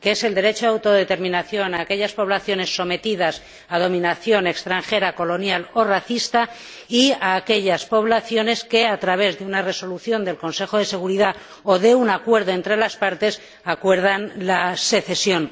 el derecho a la autodeterminación de aquellas poblaciones sometidas a dominación extranjera, colonial o racista y de aquellas poblaciones que, a través de una resolución del Consejo de Seguridad o de un acuerdo entre las partes, acuerdan la secesión.